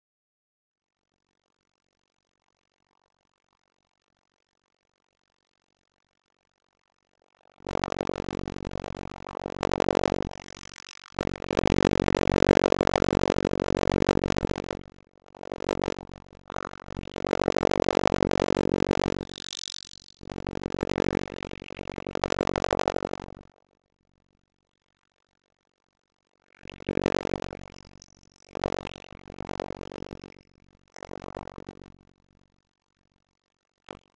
Hann áfrýjaði og krafðist nýrra réttarhalda